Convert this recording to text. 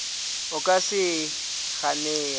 o ka se e ganego